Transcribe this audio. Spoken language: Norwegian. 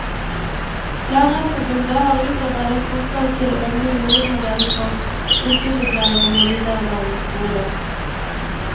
Lærerforbundet har utarbeidet forslag til en ny hovedmodell for yrkesopplæringen i videregående skole.